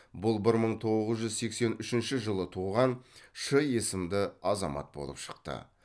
бұл бір мың тоғыз жүз сексен үшінші жылы туған ш есімді азамат болып шықты